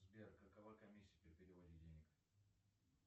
сбер какова комиссия при переводе денег